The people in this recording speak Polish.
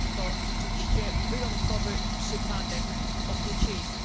To rzeczywiście wyjątkowy przypadek okrucieństwa.